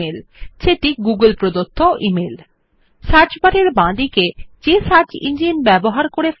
on the left side of the search bar the logo of the search engine which has been used to bring up the results is scene